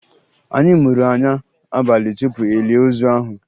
Anyị muru anya abalị tupu e lie ozu ahụ